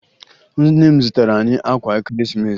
Nne m zụtara anyị akwa Ekeresimesi